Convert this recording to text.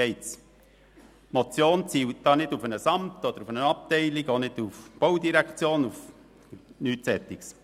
Die Motion zielt nicht auf ein Amt oder eine Abteilung ab und auch nicht auf die BVE – nichts dergleichen.